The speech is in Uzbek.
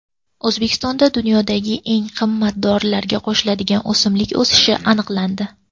O‘zbekistonda dunyodagi eng qimmat dorilarga qo‘shiladigan o‘simlik o‘sishi aniqlandi.